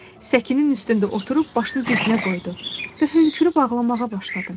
Səkinin üstündə oturub başını dizinə qoydu və hönkürüb ağlamağa başladı.